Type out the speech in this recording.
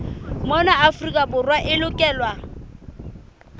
mona afrika borwa e lokelwa